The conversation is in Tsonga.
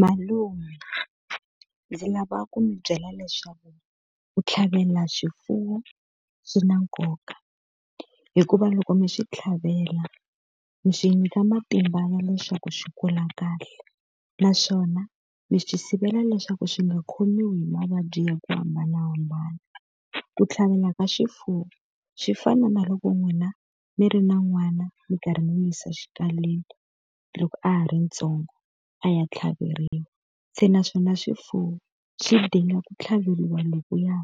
Malume ndzi lava ku mi byela leswaku ku tlhavela swifuwo swi na nkoka. Hikuva loko mi swi tlhavela mi swi nyika matimba ya leswaku swi kula kahle, naswona mi swi sivela leswaku swi nga khomiwi hi mavabyi ya ku hambanahambana. Ku tlhavela ka swifuwo swi fana na loko n'wina mi ri na n'wana mi karhi mi n'wi yisa xikalwini loko a ha ri ntsongo a ya tlhaveriwa. Se naswona swifuwo swidinga ku tlhaveriwa lokuya